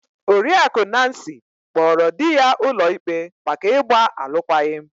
Oriakụ Nancy kpọọrọ di ya ụlọikpe maka ịgba alụkwaghịm.